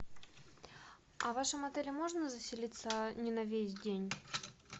а в вашем отеле можно заселиться не на весь день